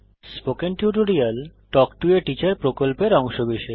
spoken tutorial talk to a teacher প্রকল্পের অংশবিশেষ